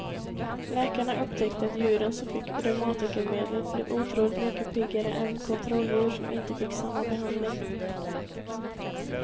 Läkarna upptäckte att djuren som fick reumatikermedlet blev otroligt mycket piggare än kontrolldjur som inte fick samma behandling.